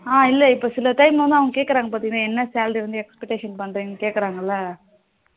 ஆ இல்ல இப்போ சில time வந்து அவங்க கேக்குறாங்க பாத்தின என்ன salary வந்து expectation பண்ணுரிங்க